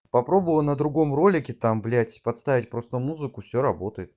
попробовал на другом ролики там блять подставить просто музыку все работаем